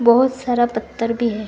बहुत सारा पत्थर भी है।